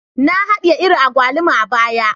Na hadiye iri agwaluma a baya